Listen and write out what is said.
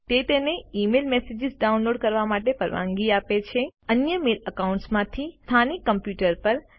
તે તમને email messages download કરવા માટેની પરવાનગી આપે છે તમારા અન્ય મેલ એકાઉન્ટ્સ માંથી સ્થાનિક કમ્પ્યુટર પર